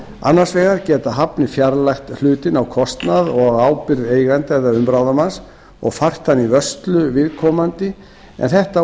annars vegar geta hafnir fjarlægt hlutinn á kostnað og ábyrgð eiganda eða umráðamanns og fært hann í vörslur viðkomandi en þetta